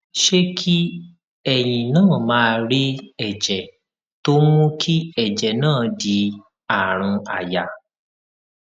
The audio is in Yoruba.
ṣé kí èyin náà máà rí èjè tó ń mú kí èjè náà di àrùn àyà